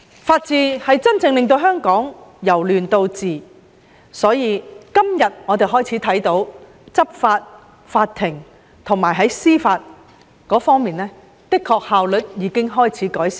法治是真正令香港由亂到治，而我們看到今天的執法及司法效率的確已有改善。